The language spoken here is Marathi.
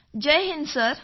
जय हिंद सर